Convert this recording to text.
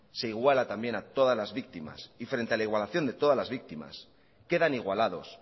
se iguala también a todas las víctimas y frente a la igualación de todas las víctimas quedan igualados